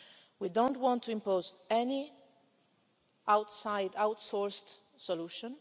and prevent. We don't want to impose any outside outsourced